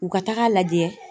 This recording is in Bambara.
U ka taga lajɛ.